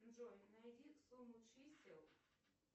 джой найди сумму чисел